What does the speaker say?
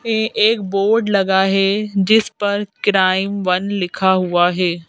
पे एक बोर्ड लगा है जिस पर क्राइम वन लिखा हुआ है।